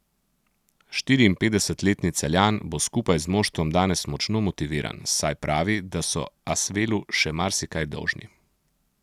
Štiriinpetdesetletni Celjan bo skupaj z moštvom danes močno motiviran, saj pravi, da so Asvelu še marsikaj dolžni.